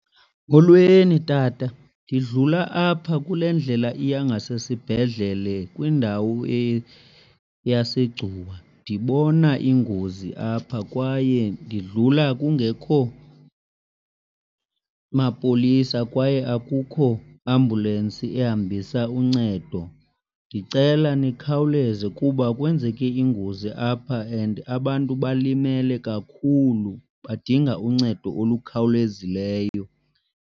Molweni tata. Ndidlula apha kule ndlela iya ngasesibhedlele kwindawo yaseGcuwa, ndibona ingozi apha kwaye ndidlula kungekho mapolisa kwaye akukho ambulensi ehambisa uncedo. Ndicela nikhawuleze kuba kwenzeke ingozi apha and abantu balimele kakhulu badinga uncedo olukhawulezileyo.